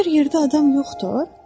Məgər yerdə adam yoxdur?